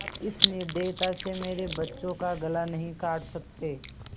आप इस निर्दयता से मेरे बच्चों का गला नहीं काट सकते